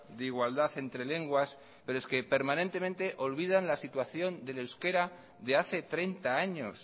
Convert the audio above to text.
de igualdad entre lenguas pero es que permanentemente olvidan la situación del euskera de hace treinta años